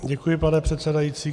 Děkuji, pane předsedající.